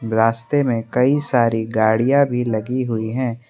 रास्ते में कई सारी गाड़ियां भी लगी हुई है।